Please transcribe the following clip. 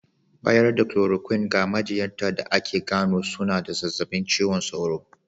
Bayar da "chloroquine" ga majinyata da aka gano suna da zazzabin cizon sauro.